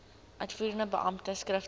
uitvoerende beampte skriftelik